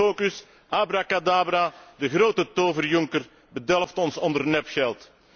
Hocus pocus, abracadabra, de grote tover Juncker bedelft ons onder nepgeld.